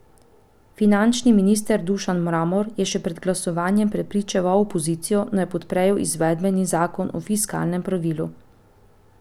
Finančni minister Dušan Mramor je še pred glasovanjem prepričeval opozicijo, naj podprejo izvedbeni zakon o fiskalnem pravilu.